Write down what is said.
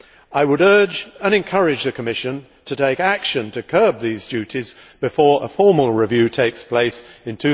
I would urge and encourage the Commission to take action to curb these duties before a formal review takes place in